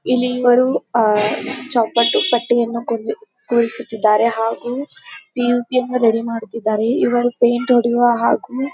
ಇಲ್ಲಿ ಇವರು ಚೋಕಟ್ಟು ಕಟ್ಟೆಯನ್ನು ಕುಳಿಸುತ್ತಿದ್ದರೆ ಹಾಗು ಪಿ ಓ ಪಿ ರೆಡಿ ಮಾಡುತಿದ್ದರೆ ಇವರು ಪೈಂಟ್ ಹೊಡೆಯುವ ಹಾಗು--